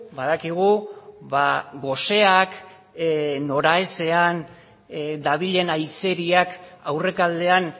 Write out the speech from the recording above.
badakigu goseak noraezean dabilen azeriak aurrekaldean